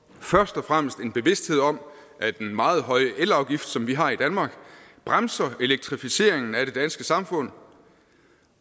først og fremmest en bevidsthed om at den meget høje elafgift som vi har i danmark bremser elektrificeringen af det danske samfund